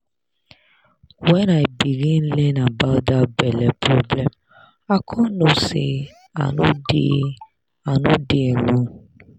when i begin learn about that belle problem i con know say i no dey i no dey alone